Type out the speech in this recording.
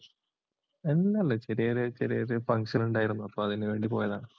അല്ല, ചെറിയചെറിയൊരു function ഉണ്ടായിരുന്നു. അപ്പോ അതിനു വേണ്ടി പോയതാ.